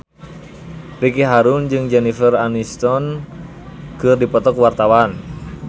Ricky Harun jeung Jennifer Aniston keur dipoto ku wartawan